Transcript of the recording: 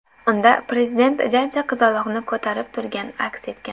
Unda Prezident jajji qizaloqni ko‘tarib turgani aks etgan.